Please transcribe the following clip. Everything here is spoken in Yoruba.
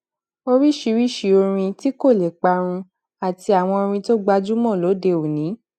oríṣiríṣi orin tí kò lè parun àti àwọn orin tó gbajúmò lóde òní